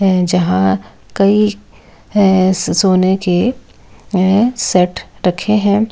जहां कई सोने के सेट रखे हैं।